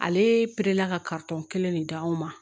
Ale pere la ka kelen de d'anw ma